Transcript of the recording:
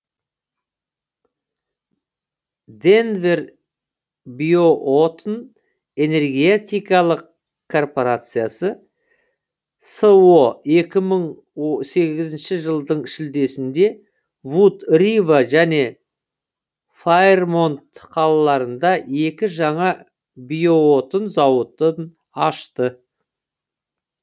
денвер биоотын энергетикалық корпорациясы со екі мың сегізінші жылдың шілдесінде вуд рива және файрмонт қалаларында екі жаңа биоотын зауытын ашты